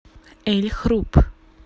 эль хруб